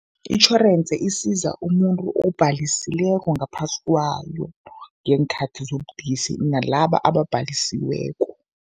Itjhorensi isiza umuntu obhalisileko ngaphasi kwayo ngeenkhathi zobudisi nalaba ababhalisiweko.